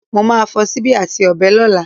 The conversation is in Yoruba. Mo má a fo síbí àti ọ̀bẹ lọ́lá